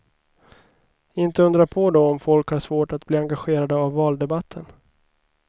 Inte undra på då om folk har svårt att bli engagerade av valdebatten.